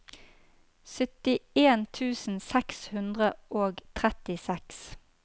syttien tusen seks hundre og trettiseks